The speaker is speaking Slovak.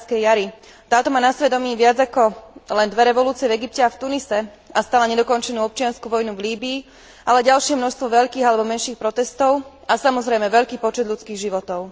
Arabskej jari, táto má na svedomí viac ako len dve revolúcie v Egypte a v Tunisku a stále nedokončenú občiansku vojnu v Líbyi, ale ďalšie množstvo veľkých alebo menších protestov a samozrejme veľký počet ľudských životov.